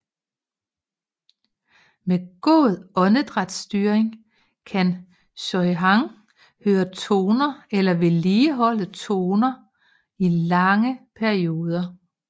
Med god åndedrætsstyring kan Sohyang køre toner eller vedligeholde toner i lange perioder